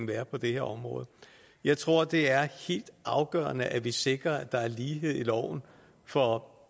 være på det her område jeg tror det er helt afgørende at vi sikrer at der er lighed i loven for